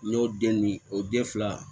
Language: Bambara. N y'o den ni o den fila